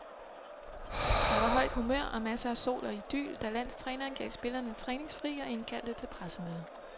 Der var højt humør og masser af sol og idyl, da landstræneren gav spillerne træningsfri og indkaldte til pressemøde.